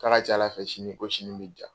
K'a ka ca Ala fɛ ko sini ko sini bɛ jaa.